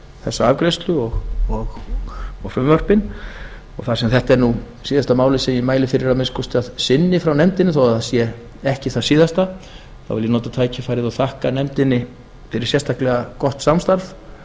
þessa afgreiðslu og frumvörpin þar sem þetta er síðasta málið sem ég mæli fyrir að minnsta kosti að sinni frá nefndinni þó að það sé ekki það síðasta vil ég nota tækifærið og þakka nefndinni fyrir sérstaklega gott samstarf